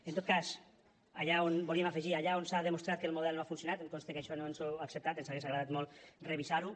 en tot cas allà on volíem afegir allà on s’ha demostrat que el model no ha funcionat i em consta que això no ens ho ha acceptat ens hagués agradat molt revisar ho